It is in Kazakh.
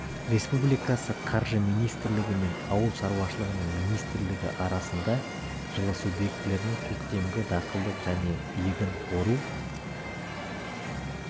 республикасы қаржы министрлігі мен ауыл шаруашылығы министрлігі арасында жылы субъектілерінің көктемгі далалық және егін ору